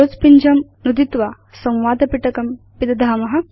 close पिञ्जं नुदित्वा संवादपिटकं पिदधाम